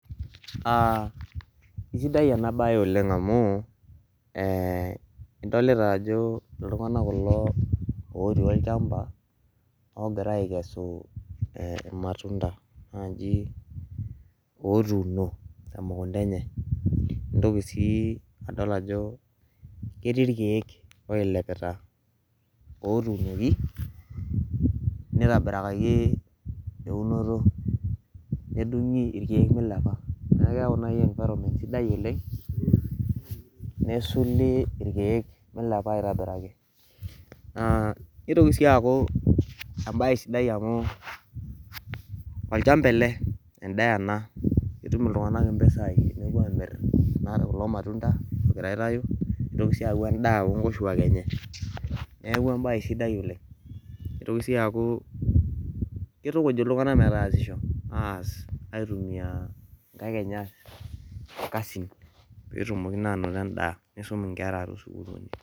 Uh isidai ena baye oleng amu eh idolita ajo iltung'anak kulo otii olchamba ogira aikesu eh imatunda naaji otuuno temukunta enye nintoki sii adol ajo ketii irkiek oilepita otunoki nitobirakaki eunoto nedung'i irkeek milepa neeku keyau naaji environment sidai oleng nesuli irkeek milepa aitobiraki naa nitoki sii aaku embaye sidai amu olchamba ele endaa ena etum iltung'anak impisai nepuo amirr enare kulo matunda ogira aitau nitoki sii aaku endaa onkoshuak enye neeku embaye sidai oleng nitoki sii aaku kitukuj iltung'anak metaasisho aas aitumia inkaik enye aas ikasin petumoki naa anoto endaa nisum inkera tosukuluni.